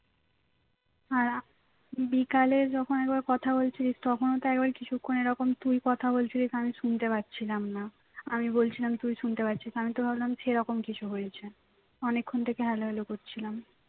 আর আ বিকালে যখন একবার কথা বলছিলিস তখন তো একবার কিছুক্ষন এরকম তুই কথা বলছিলিস আমি শুনতে পাচ্ছিলাম না আমি বলছিলাম তুই শুনতে পাচ্ছিস না আমি তো ভাবলাম সেরকম কিছু হয়েছে অনেকক্ষন hello hello করছিলাম